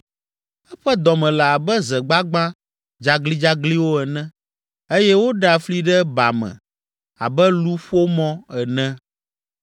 Eƒe dɔme le abe ze gbagbã dzaglidzagliwo ene eye woɖea fli ɖe ba me abe luƒomɔ ene.